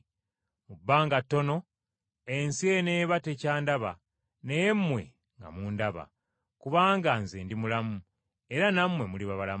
Mu bbanga ttono, ensi eneeba tekyandaba, naye mmwe nga mundaba. Kubanga Nze ndi mulamu, era nammwe muliba balamu.